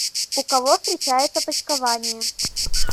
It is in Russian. у кого встречается почкование